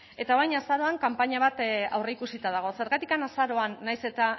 eta orain azaroan kanpaina bat aurreikusita dago zergatik azaroan nahiz eta